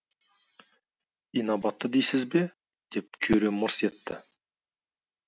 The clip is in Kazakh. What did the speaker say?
инабатты дейсіз бе деп кюре мырс етті